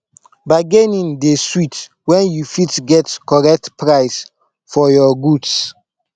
bargaining dey sweet wen you fit get correct price for your goods